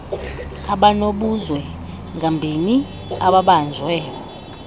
abanobuzwe ngambini ababanjwe